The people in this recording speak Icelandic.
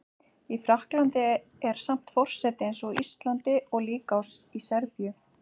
Í Frakklandi er samt forseti eins og á Íslandi og líka í Serbíu